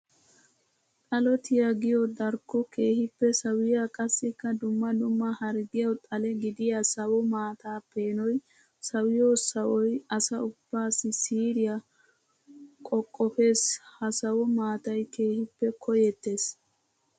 Xalotiya giyo darkko keehippe sawiya qassikka dumma dumma harggiyawu xale gidiya sawo maata peenoy sawiyo sawoy asa ubbaassi siiriya qoqqopes. Ha sawo maatay keehippe koyetees.